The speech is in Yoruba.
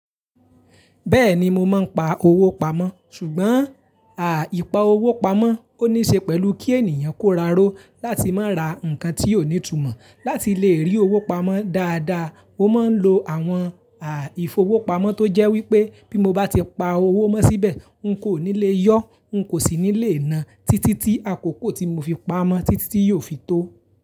Bẹ́ẹ̀ni mo máa ń pa owó pamọ́, ṣùgbọ́n, ìpa owó pamọ́ ó níṣe pẹ̀lú kí ènìyàn kóraró láti má ra nǹkan tí ó ní ìtumọ̀. Láti lè rí owó pamọ́ dáadáa, mo máa ń lo àwọn ìfowópamọ́ tó jẹ́ wípé bí mo bá ti pa owó mó síbẹ̀, ń kò ní lè yọ, ń kò sì ní lè na títí tí àkókò tí mo fi pa ámọ́ títí tí yóò fi tó.